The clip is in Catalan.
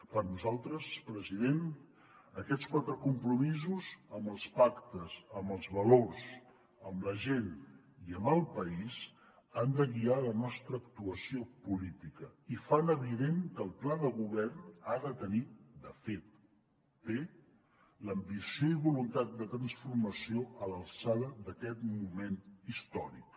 per nosaltres president aquests quatre compromisos amb els pactes amb els valors amb la gent i amb el país han de guiar la nostra actuació política i fan evident que el pla de govern ha de tenir de fet té l’ambició i voluntat de transformació a l’alçada d’aquest moment històric